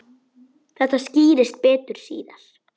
Þetta skýrist betur síðar.